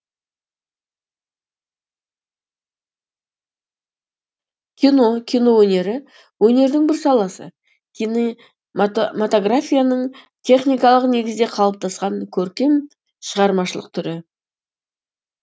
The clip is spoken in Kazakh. кино кино өнері өнердің бір саласы кинематографияның техникалық негізде қалыптасқан көркем шығармашылық түрі